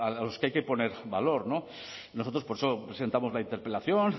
a los que hay que poner valor nosotros por eso presentamos la interpelación